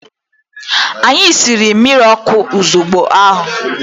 Anyi siri mmirọkụ ozubgo ahu.